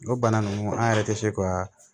O bana ninnu an yɛrɛ tɛ se ka